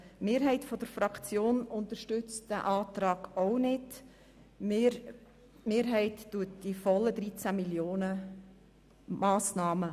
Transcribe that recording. Die Mehrheit der Fraktion glp unterstützt diese Planungserklärung ebenfalls nicht.